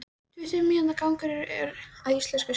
Tuttugu mínútna gangur að íslenska skipinu.